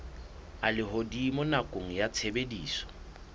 a lehodimo nakong ya tshebediso